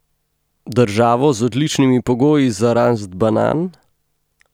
Državo z odličnimi pogoji za rast banan?